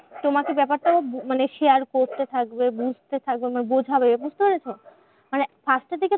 তোমাকে ব্যাপারটা ও মানে খেয়াল করতে থাকবে বুঝতে থাকবে মানে বোঝাবে, মানে বুঝতে পারছো? মানে first এর দিকে